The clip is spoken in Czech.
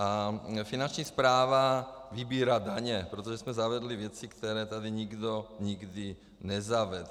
A Finanční správa vybírá daně, protože jsme zavedli věci, které tady nikdo nikdy nezavedl.